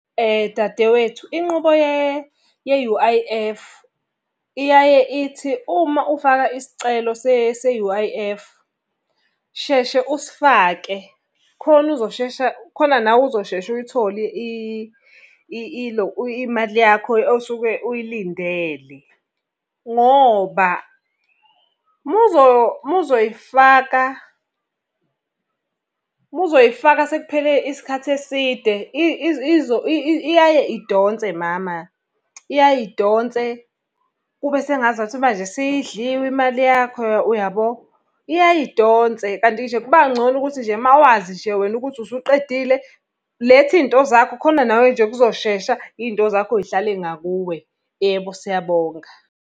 Dadewethu, inqubo ye-U_I_F, iyaye ithi uma ufaka isicelo se-U_I_F, sheshe usifake, khona uzoshesha khona nawe uzosheshe uyithole ilo imali yakho osuke uy'lindele. Ngoba uma uzoy'faka, uma uzoy'faka sekuphele isikhathi eside iyaye idonse mama, iyaye idonse, kube sengazathi manje sey'dliwe imali yakho uyabo. Iyaye idonse, kanti nje kuba ngcono ukuthi nje uma wazi nje wena ukuthi usuqedile, letha iy'nto zakho khona nawe nje kuzoshesha iy'nto zakho zihlale ngakuwe. Yebo, siyabonga.